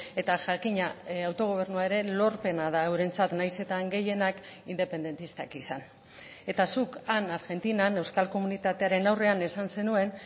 eta jakina autogobernuaren lorpena da eurentzat nahiz eta han gehienak independentistak izan eta zuk han argentinan euskal komunitatearen aurrean esan zenuen